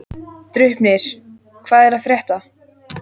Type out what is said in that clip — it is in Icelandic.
Draupnir, hvað er að frétta?